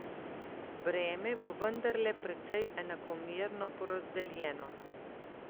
Breme bo vendarle precej enakomerno porazdeljeno.